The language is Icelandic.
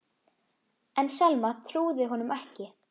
En Selma trúði honum ekki.